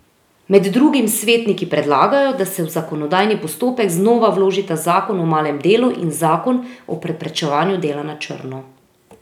Med drugim svetniki predlagajo, da se v zakonodajni postopek znova vložita zakon o malem delu in zakon o preprečevanju dela na črno.